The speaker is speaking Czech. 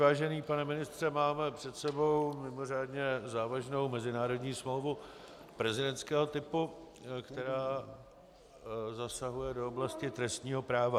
Vážený pane ministře, máme před sebou mimořádně závažnou mezinárodní smlouvu prezidentského typu, která zasahuje do oblasti trestního práva.